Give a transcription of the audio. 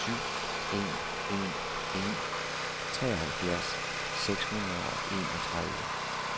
syv en en en treoghalvfjerds seks hundrede og enogtredive